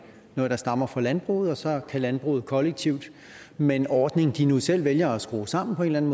noget der stammer fra landbruget og så kan landbruget kollektivt med en ordning de nu selv vælger at skrue sammen på en